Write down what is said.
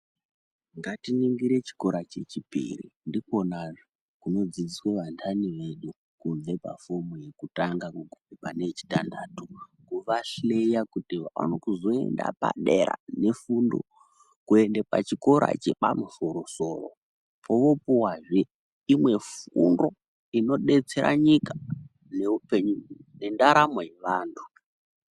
Ngatiningire chikora chechipiri ndikwonazve kunodzidziswa vantani vedu kubve pafomu yekutanga kuguma pane yechitantatu, kuvahleya kuti vaone kuzoenda padera nefundo kuenda pachikora chepamusoro-soro kwovoopuwazve imwe fundo inodetsera nyika, neupenyu nendaramo yevantu.